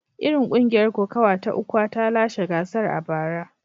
Kungiyar kokawa ta Ukwa ta lashe gasar a bara.